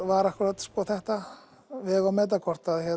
var akkúrat þetta að vega og meta hvort